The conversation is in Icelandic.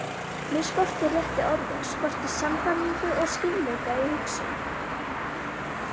Mig skorti réttu orðin, skorti sannfæringu og skýrleika í hugsun.